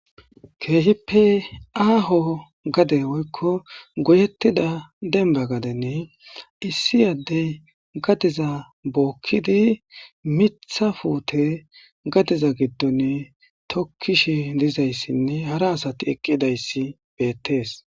Hayssa ha'i tani misileza bolla xeelishin beetizay aaze gizayssa gidikko issi adeyi gade gidoni miththa pute tukishe dizaysin hara asati ekidi dizaysi betesi.